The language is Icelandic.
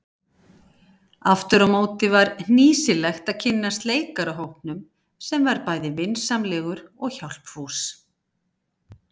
Afturámóti var hnýsilegt að kynnast leikarahópnum sem var bæði vinsamlegur og hjálpfús.